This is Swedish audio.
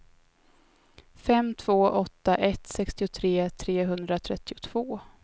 fem två åtta ett sextiotre trehundratrettiotvå